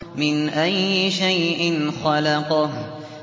مِنْ أَيِّ شَيْءٍ خَلَقَهُ